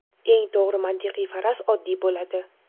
Eng to‘g‘ri mantiqiy faraz oddiy bo‘ladi.